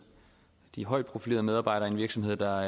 de højt profilerede medarbejdere i en virksomhed der